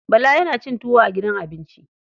Bala yana cin tuwo a gidan abinci.